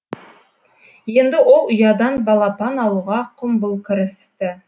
енді ол ұядан балапан алуға құмбыл кірісті